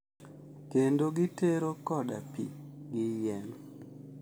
Kendo gitero koda pi gi yien.